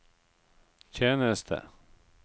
tjeneste